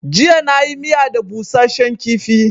Jiya na yi miya da busashen kifi